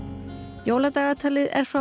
jóladagatalið er frá